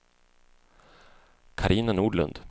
Carina Nordlund